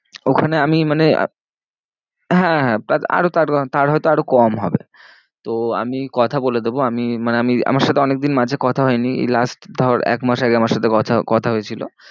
ওখানে আমি মানে হ্যাঁ হ্যাঁ তার হয় তো আরো কম হবে। তো আমি কথা বলে দেবো আমি মানে আমি আমার সাথে অনেক দিন মাঝে কথা হয়নি। এই last ধর এক মাস আগে আমার সাথে কথা, কথা হয়েছিল।